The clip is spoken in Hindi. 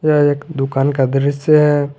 यह एक दुकान का दृश्य है।